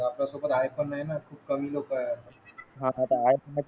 आपल्या सोबत आय पण नाय ना खूप कमी लोक आपण